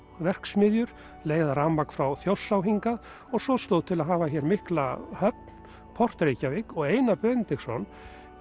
verksmiðjur leiða rafmagn frá Þjórsá hingað og svo stóð til að hafa hér mikla höfn port Reykjavík og Einar Benediktsson